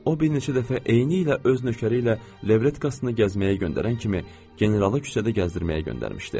O bir neçə dəfə eynilə öz nökəri ilə levretkasını gəzməyə göndərən kimi generalı küçədə gəzdirməyə göndərmişdi.